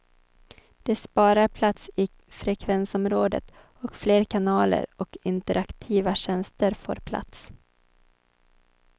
Det sparar plats i frekvensområdet och fler kanaler och interaktiva tjänster får plats.